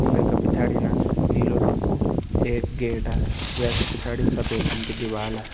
वै का पिछाड़ी न नीलू रंग कू एक गेट वै का पिछाड़ी सफ़ेद रंग की दिवाला।